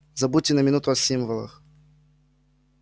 забудьте на минуту о символах